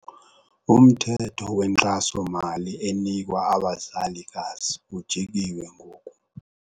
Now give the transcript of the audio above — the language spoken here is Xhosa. Umthetho wenkxasomali enikwa abazalikazi ujikiwe ngoku.